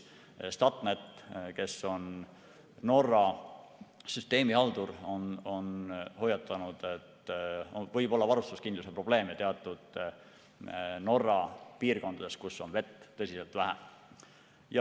Statnett, kes on Norra süsteemi haldur, on hoiatanud, et võib olla varustuskindluse probleeme teatud Norra piirkondades, kus on vett tõsiselt vähe.